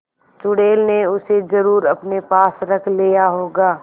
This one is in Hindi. चुड़ैल ने उसे जरुर अपने पास रख लिया होगा